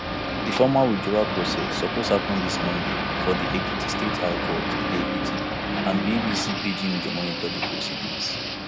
di formal withdrawal process suppose happen dis monday for di ekiti state high court ado ekiti and bbc pidgin dey monitor di proceedings